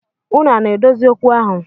Unu ana adozi okwu ahụ?